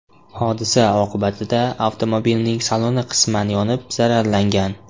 Hodisa oqibatida avtomobilning saloni qisman yonib zararlangan.